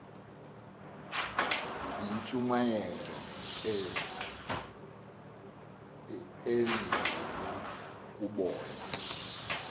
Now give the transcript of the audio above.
yintshumayelo enzulu ukubona